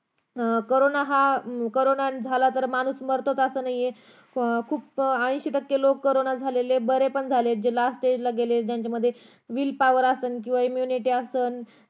corona हा corona झाला तर माणूस हा मरतोच असं नाही खुप ऐंशी टक्के लोक बरे पण झालेत जे last stage ला गेले ज्यांच्यामध्ये wheel power असल किंवा immunity power असेल